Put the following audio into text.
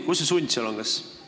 Kus see sund seal on?